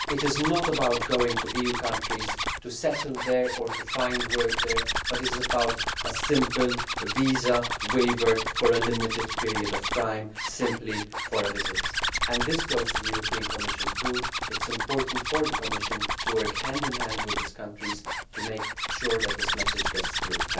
It is not about going to EU countries to settle there or to find work, but it is a simple visa waiver for a limited period of time simply for a visit. This applies to the European Commission too. It is important for the Commission to work hand in hand with these countries to make sure that this message gets through.